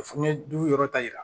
Fu yɔrɔ ta yira